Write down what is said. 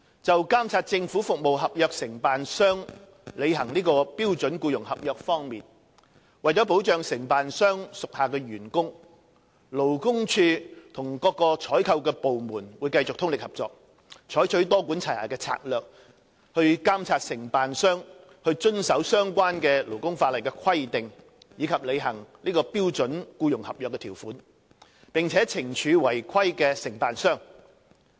就監察政府服務合約承辦商履行標準僱傭合約方面，為保障承辦商屬下的員工，勞工處與各採購部門會繼續通力合作，採取多管齊下的策略，以監察承辦商遵守相關勞工法例的規定及履行標準僱傭合約的條款，並且懲處違規的承辦商。